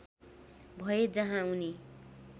भए जहाँ उनी